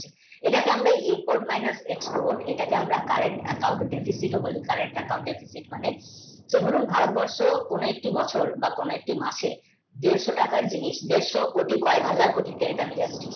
এটাকে আমরা import, minus, export এটাকে আমরা current, account, deficit বলি তবু ভারতবর্ষ কয়েকটি বছর কয়েকটি মাসে দেড়শ টাকার জিনিস দেঢ় সো কোটি কয়েক হাজার কোটি